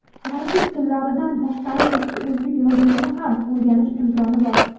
fransuz tillaridan tashqari eski o‘zbek yozuvini ham o‘rganish imkoni bor.